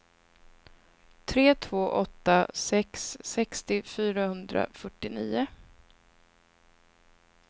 tre två åtta sex sextio fyrahundrafyrtionio